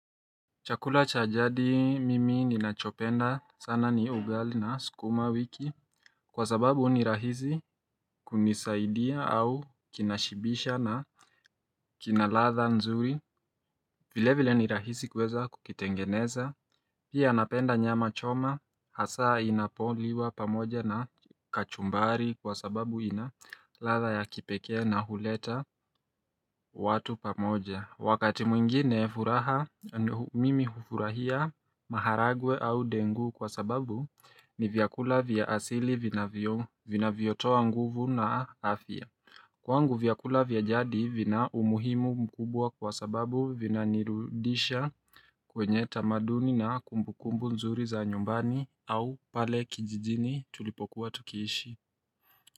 Chakula cha jadi mimi ninachopenda sana ni ugali na sikuma wiki Kwa sababu ni rahizi kunisaidia au kinashibisha na kinaladha nzuri vile vile ni rahizi kuweza kukitengeneza Pia napenda nyama choma hasaa inapoliwa pamoja na kachumbari Kwa sababu inaladha ya kipekee na huleta watu pamoja Wakati mwingine furaha mimi hufurahia maharagwe au dengu kwa sababu ni vyakula vya asili vina yotoa nguvu na afya. Kwangu vyakula vya jadi vina umuhimu mkubwa kwa sababu vina nirudisha kwenye tamaduni na kumbukumbu nzuri za nyumbani au pale kijijini tulipokuwa tukiishi.